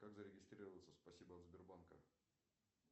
как зарегистрироваться в спасибо от сбербанка